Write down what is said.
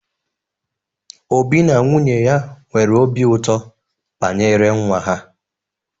Obi na nwunye ya nwere obi ụtọ banyere nwa ha.